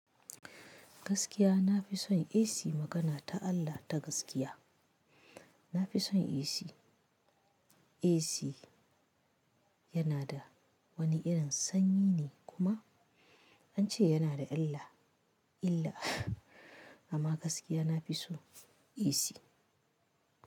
Gaskiya na fi son AC magana ta Allah ta gaskiya. Na fi son isi. Isi yana da wani irin sanyi ne kuma an ce yana da illa, illa amma gaskiya nafi so AC.